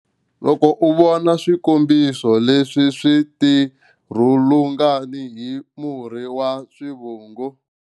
Loko u vona swikombiso leswi swi tirhulungani hi murhi wa swivungu.